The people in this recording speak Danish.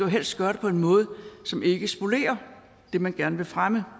helst gøre det på en måde som ikke spolerer det man gerne vil fremme